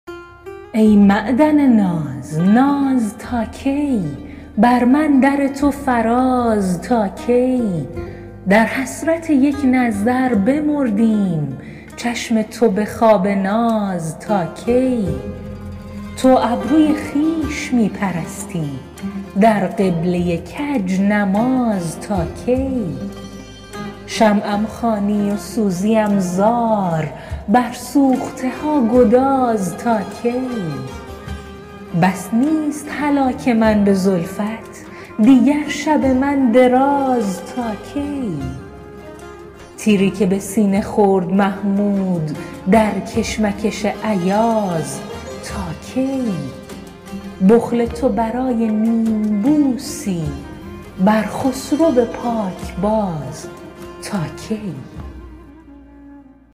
ای معدن ناز ناز تا کی بر من در تو فراز تا کی در حسرت یک نظر بمردیم چشم تو به خواب ناز تا کی تو ابروی خویش می پرستی در قبله کج نماز تا کی شمعم خوانی و سوزیم زار بر سوخته ها گداز تا کی بس نیست هلاک من به زلفت دیگر شب من دراز تا کی تیری که به سینه خورد محمود در کشمکش ایاز تا کی بخل تو برای نیم بوسی بر خسرو پاک باز تا کی